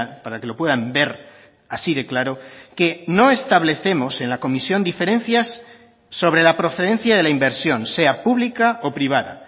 para que lo puedan ver así de claro que no establecemos en la comisión diferencias sobre la procedencia de la inversión sea pública o privada